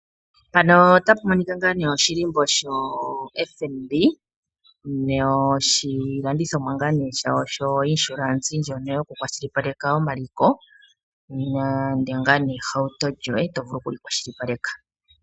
Oshilimbo shoFnb noshilandithomwa shawo sho insurance tayi shilipaleka omaliko nande ohauto yoye to vulu okuyi kwashilipaleka.